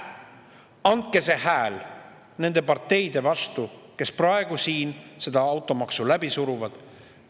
Andke see hääl nende parteide vastu, kes praegu siin seda automaksu läbi suruvad!